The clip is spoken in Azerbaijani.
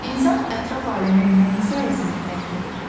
İnsan ətraf aləmi nəyin sayəsində dərk edir?